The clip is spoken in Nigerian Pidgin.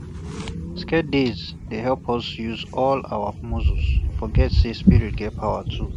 sacred days dey help us no use all um our muscle um forget say spirit get power too um